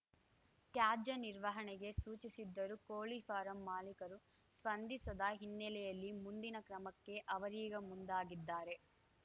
ತ್ಯಾಜ್ಯ ನಿರ್ವಹಣೆಗೆ ಸೂಚಿಸಿದ್ದರೂ ಕೋಳಿ ಫಾರಂ ಮಾಲೀಕರು ಸ್ಪಂದಿಸದ ಹಿನ್ನೆಲೆಯಲ್ಲಿ ಮುಂದಿನ ಕ್ರಮಕ್ಕೆ ಅವರೀಗ ಮುಂದಾಗಿದ್ದಾರೆ